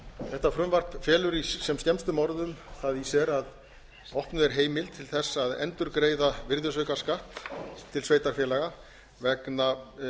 þetta frumvarp felur í sem skemmstum orðum það í sér að opnuð er heimild til að endurgreiða virðisaukaskatt til sveitarfélaga vegna